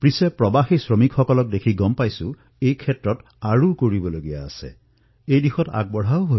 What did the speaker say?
মই সুখী কিয়নো বিগত বৰ্ষত এই দিশত বহু কাম কৰা হৈছে বহু নতুন পদক্ষেপো গ্ৰহণ কৰা আৱশ্যক হৈ পৰিছে আৰু আমি নিৰন্তৰে এই দিশত আগবাঢ়িছো